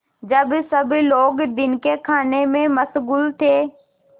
जब सब लोग दिन के खाने में मशगूल थे